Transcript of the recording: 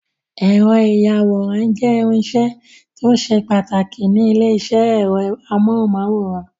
Ẹ̀rọ ìyàwòrán jẹ́ irinṣẹ́ tó ṣe pàtàkì ní ilé-iṣẹ́ ẹ̀rọ amóhùmáwòhán.